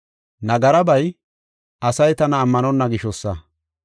Nagarabay, asay tana ammanonna gishosa.